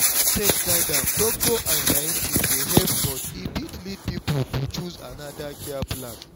if faith guide am doctor and scientist dey help but e fit lead people to choose another care plan.